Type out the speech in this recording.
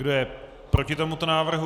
Kdo je proti tomuto návrhu?